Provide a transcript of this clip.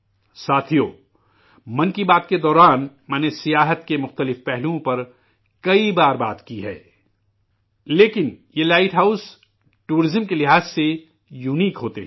ساتھیو، 'من کی بات' کے دوران، میں نے، سیاحت کے مختلف پہلوؤں پر متعدد بار بات کی ہے، لیکن، یہ لائٹ ہاؤس ٹورزم کے لحاظ سے انوکھے ہوتے ہیں